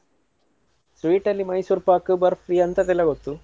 Sweet ಅಲ್ಲಿ mysorepak, burfi ಅಂತದ್ದೆಲ್ಲ ಗೊತ್ತು.